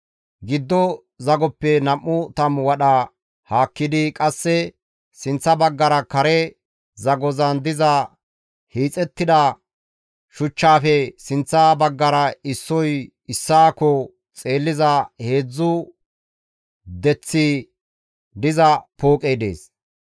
Giddo zagoppe nam7u tammu wadha haakkidi qasse sinththa baggara kare zagozan diza hiixettida shuchchaafe sinththa baggara issoy issaakko xeelliza heedzdzu deththi diza pooqey dees.